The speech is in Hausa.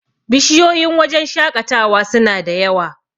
bishiyoyin wajen shaƙatawa suna da yawa